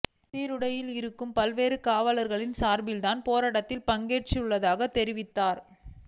சீருடையில் இருக்கும் பல்வேறு காவலர்களின் சார்பில் தான் போராட்டத்தில் பங்கேற்றுள்ளதாக தெரிவித்தார்